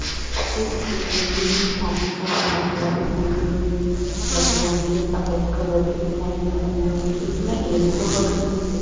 काफी सारी बकरियां दिखाई दे रही हैं। बकरियाँ मुझे सफेद कलर की दिखाई दे रही है । इसमें एक दो बकरी मुझे--